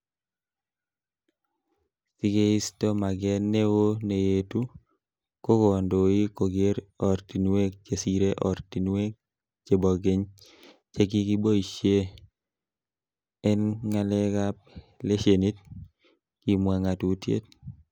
Sikeisto maget neo neyetu, ko kondoik kogere ortinwek chesire oratinwek chebo keny chekikiboishie en ngalekab leshenit,''kimwa ngatutiet